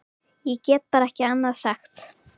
Ég get bara ekki annað sagt.